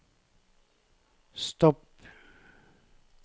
stopp